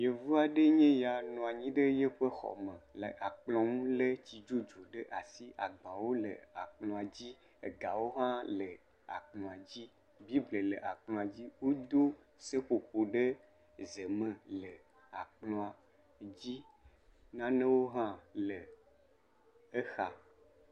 Yevu aɖe enye ya le eƒe xɔ me le akplɔ̃ ŋu lé tsi dzodzui ɖe asi agbawo le akplɔ̃a dzi. Gawo hã le kplɔa dzi. Bibla le akplɔ̃a dzi wodo seƒoƒo ɖe ze me la kplɔ̃a dzi. Nanewo hã le kplɔ̃a dzi.